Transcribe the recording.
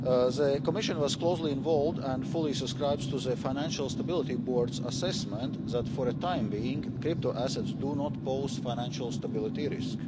The Commission was closely involved and fully subscribes to the Financial Stability Board's assessment that, for the time being, crypto assets do not pose a financial stability risk.